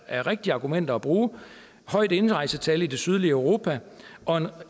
er rigtige argumenter at bruge et højt indrejsetal i det sydlige europa og